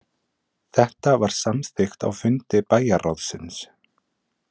Þetta var samþykkt á fundi bæjarráðsins